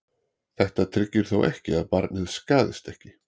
þetta tryggir þó ekki að barnið skaðist ekki